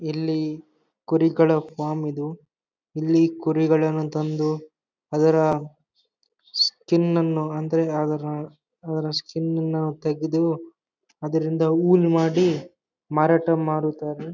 ಇಲ್ಲಿ ಕುರಿಗಳ ಫಾರ್ಮ್ ಇದು ಇಲ್ಲಿ ಕುರಿಗಳನ್ನು ತಂದು ಅದರ ಸ್ಕಿನ್ ನನ್ನ ಅಂದ್ರೆ ಅದರ ಅದರ ಸ್ಕಿನ್ ನನ್ನ ತಗೆದು ಅದರಿಂದ ಉಲ್ ಮಾಡಿ ಮಾರಾಟ ಮಾಡುತ್ತಾರೆ.